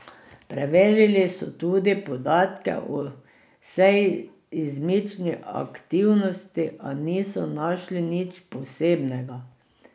Preverili so tudi podatke o seizmični aktivnosti, a niso našli nič posebnega.